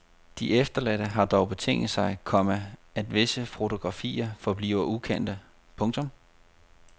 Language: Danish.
De efterladte har dog betinget sig, komma at visse fotografier forbliver ukendte. punktum